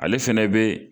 Ale fɛnɛ be